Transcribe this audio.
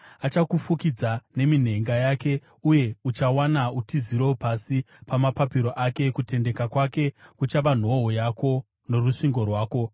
Achakufukidza neminhenga yake, uye uchawana utiziro pasi pamapapiro ake; kutendeka kwake kuchava nhoo yako norusvingo rwako.